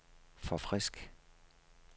forfrisk